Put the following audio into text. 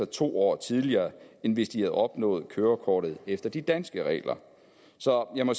to år tidligere end hvis de havde opnået kørekortet efter de danske regler så jeg må